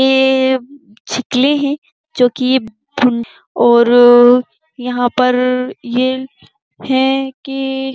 यह है। जोकि और यहा पर ये हैं की --